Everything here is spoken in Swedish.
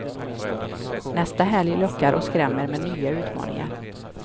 Nästa helg lockar och skrämmer med nya utmaningar.